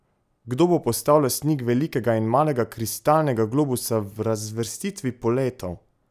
Kdo bo postal lastnik velikega in malega kristalnega globusa v razvrstitvi poletov?